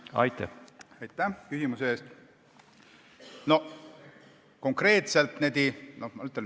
Aitäh küsimuse eest!